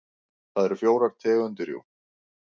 Það eru fjórar tegundir jú.